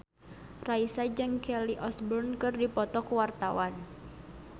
Raisa jeung Kelly Osbourne keur dipoto ku wartawan